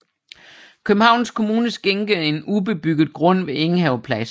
Københavns Kommune skænkede en ubebygget grund ved Enghave Plads